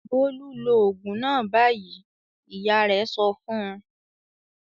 "Bólú lo òògùn náà báyìí!" Ìyá rẹ̀ sọ fún un.